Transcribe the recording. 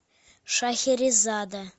шахерезада